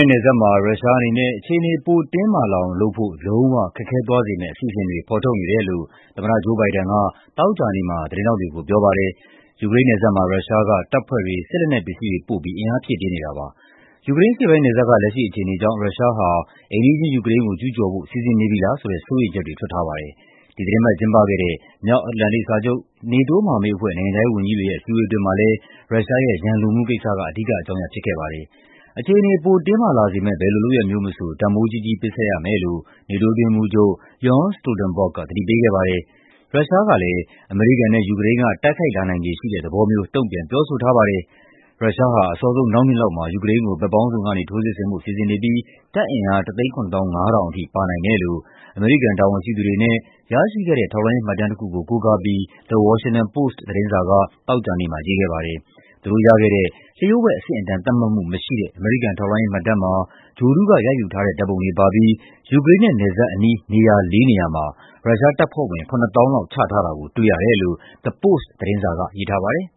ဲ့နယ်စပ်မှာ ရုရှားအနေနဲ့ အခြေအနေ ပိုတင်းမာလာအောင်လုပ်ဖို့ လုံးဝခက်ခဲသွားစေမယ့် အစီအစဉ်တွေ ဖော်ထုတ်နေတယ်လို့ သမ္မတ Joe Biden က သောကြာနေ့မှာ သတင်းထောက်တွေကို ပြောပါတယ်။ ယူကရိန်းနယ်စပ်မှာ ရုရှားက တပ်ဖွဲ့တွေ၊ စစ်လက်နက်ပစ္စည်းတွေ ပို့ပြီး အင်အားဖြည့်တင်းနေတာပါ။ ယူကရိန်းအရှေ့ပိုင်းနယ်စပ်က လက်ရှိအခြေအနေကြောင့် ရုရှားဟာ အိမ်နီးချင်း ယူကရိန်းကို ကျူးကျော်ဖို့ စီစဉ်နေပြီလားဆိုတဲ့ စိုးရိမ်ချက်တွေ ထွက်ထားပါတယ်။ ဒီသီတင်းပတ် ကျင်းပခဲ့တဲ့ မြောက်အတ္တလန်တိတ်စာချုပ် (NATO) မဟာမိတ်အဖွဲ့ နိုင်ငံခြားရေး ဝန်ကြီးတွေရဲ့ အစည်းအဝေး အတွင်းမှာလည်း ရုရှားရဲ့ ရန်လိုမှုကိစ္စက အဓိကအကြောင်းရပ် ဖြစ်ခဲ့ပါတယ်။ အခြေအနေ ပိုတင်းမာလာစေမယ့် ဘယ်လိုလုပ်ရပ်မျိုးမဆို တန်ဖိုးကြီးကြီး ပေးဆပ်ရမယ်လို့ NATO အတွင်းရေးမှူးချုပ် Jens Stoltenberg က သတိပေးခဲ့ပါတယ်။ ရုရှားကလည်း အမေရိကန်နဲ့ ယူကရိန်းက တိုက်ခိုက်လာနိုင်ခြေရှိတဲ့ သဘောမျိုး တုံ့ပြန် ပြောဆိုထားပါတယ်။ ရုရှားဟာ အစောဆုံး နောက်နှစ်လောက်မှာ ယူကရိန်းကို ဘက်ပေါင်းစုံကနေ ထိုးစစ်ဆင်ဖို့ စီစဉ်နေပြီး တပ်အင်အား ၁၇၅,၀၀၀ အထိ ပါနိုင်တယ်လို့ အမေရိကန် တာဝန်ရှိသူတွေနဲ့ ရရှိခဲ့တဲ့ ထောက်လှမ်းရေးမှတ်တမ်းတခုကို ကိုးကားပြီး The Washington Post သတင်းစာက သောကြာနေ့မှာ ရေးခဲ့ပါတယ်။ သူတို့ရခဲ့တဲ့ လျှို့ဝှက်အဆင့်အတန်း သတ်မှတ်မှုမရှိတဲ့ အမေရိကန် ထောက်လှမ်းရေးမှတ်တမ်းမှာ ဂြိုဟ်တုက ရိုက်ယူထားတဲ့ ဓာတ်ပုံတွေ ပါပြီး ယူကရိန်းနဲ့ နယ်စပ်အနီး နေရာလေးနေရာမှာ ရုရှားတပ်ဖွဲ့ဝင် ၇၀,၀၀၀ လောက် ချထားတာကို တွေ့ရတယ်လို့ The Post သတင်းစာက ရေးထားပါတယ်